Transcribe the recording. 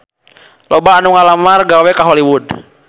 Loba anu ngalamar gawe ka Hollywood